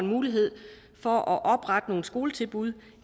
mulighed for at oprette nogle skoletilbud